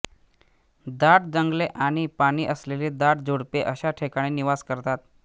दाट जंगले आणि पाणी असलेली दाट झुडपे अश्या ठिकाणी निवास करतात